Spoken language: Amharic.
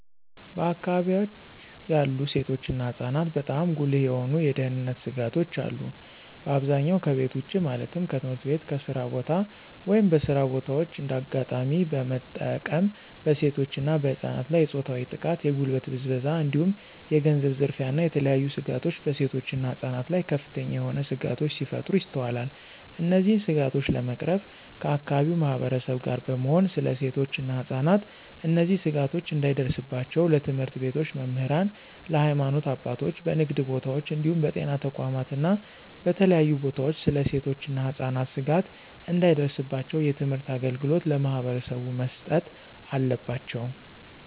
በአከባቢወች ያሉ ሴቶች እና ህፃናትበጣም ጉልህ የሆኑ የደህንነት ስጋቶች አሉ። በአብዛኛው ከቤት ውጭ ማለትም ከትምህርት ቤት፣ ከስራ ቦታ፣ ወይም በስራ በታዎች እንደ አጋጣሚ በመጠቀም በሴቶች እና በህፃናት ላይ የፆታዊ ጥቃት፣ የጉልበት ብዝበዛ እንዲሁም የገንዘብ ዝርፊያ እና የተለያዬ ስጋቶች በሴቶች እና ህፃናት ላይ ከፍተኛ የሆነ ስጋቶች ሲፈጠሩ ይስተዋላል። እነዚህን ስጋቶች ለመቅረፍ ከአከባቢው ማህበረሰብ ጋር በመሆን ስለ ሴቶች እና ህፃናት እነዚህ ስጋቶች እንዳይደርስባቸው ለትምህርት ቤቶች መምህራን፣ ለሀይማኖት አባቶች፣ በንግድ ቦታወች እንዲሁም በጤና ተቋማት እና በተለያዩ ቦታወች ስለ ሴቶች እና ህፃናት ስጋት እንዳይደርስባቸው የትምህርት አገልግሎት ለማህበረሰቡ መስጠት አለባቸው።